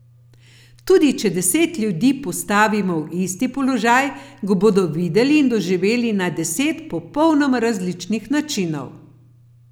Tudi če deset ljudi postavimo v isti položaj, ga bodo videli in doživeli na deset popolnoma različnih načinov.